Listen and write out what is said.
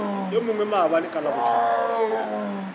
yo mongwe maabane ka labohlano